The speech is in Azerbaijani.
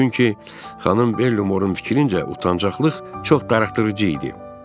Çünki xanım Bellamorun fikrincə, utancaqlıq çox darıxdırıcı idi.